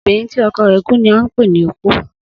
Obìnrin tí o̩kò̩ rè̩ tí kú ni à n pè ní opó